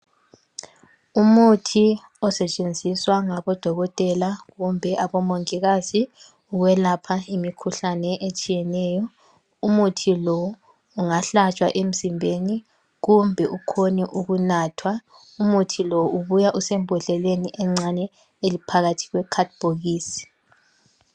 Umuthi osetshenziswa ngabodokotela kumbe abomongikazi ukwelapha imikhuhlane etshiyeneyo. Umuthi lo ungahlatshwa emzimbeni kumbe ukhone ukunathwa umuthi lo ubuya usembodleleni encane eliphakathi kwekhadibhokisi.